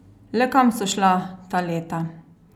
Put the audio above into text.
Le kam so šla ta leta?